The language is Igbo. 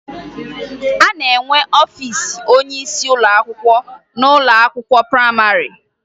A na-enwe ọfiisi onyeisi ụlọakwụkwọ n'ụlọakwụkwọ prayịmarị